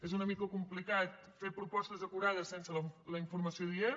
és una mica complicat fer propostes acurades sense la informació adient